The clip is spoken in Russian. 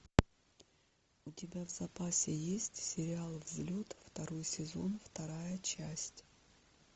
у тебя в запасе есть сериал взлет второй сезон вторая часть